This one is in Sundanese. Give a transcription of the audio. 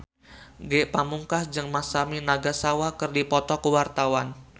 Ge Pamungkas jeung Masami Nagasawa keur dipoto ku wartawan